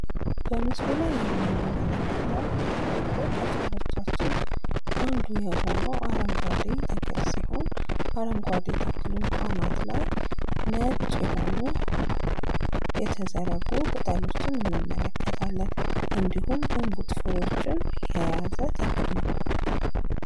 በምስሉ ላይ የምንመለከተው ተፈጥሮ ከቻረቻችን አንዱ የሆነው አረንጓዴ ተክል ሲሆን አረንጓዴ ተክሉ አናት ላይ ነጭ የሆኑ የተዘረጉ ቅጠሎችን እንመለከታለን እንዲሁም እንቡጥ ፍሬዎችን የያዘ ተክል ነው።